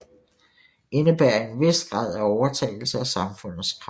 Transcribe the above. Indebærer en vis grad af overtagelse af samfundets krav